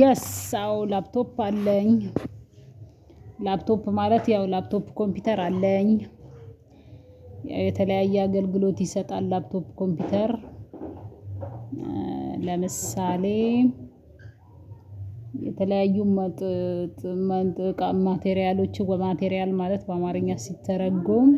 የስ አዎ ላፕቶፕ አለኝ። ላፕቶፕ ማለት ያው ላፕቶፕ ኮምፒውተር አለኝ። የተለያየ አገልግሎት ይሰጣል ላፕቶፕ ኮምፒውተር። ለምሳሌ የተለያዩ ማቴሪያሎች ማቴሪያል ማለት በአማርኛ ሲተረጎም